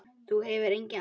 Það hefur engin áhrif.